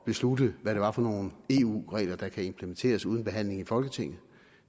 beslutte hvad det var for nogle eu regler der kunne implementeres uden behandling i folketinget